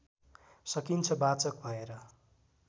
सकिन्छ वाचक भएर